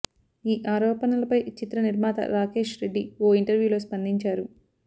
ఈ ఆరోపణలపై చిత్ర నిర్మాత రాకేష్ రెడ్డి ఓ ఇంటర్వ్యూలో స్పందించారు